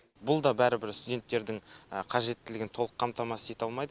бұл да бәрібір студенттердің қажеттілігін толық қамтамасыз ете алмайды